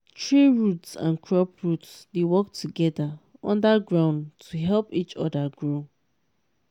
tree root and crop root dey work together under ground to help each other grow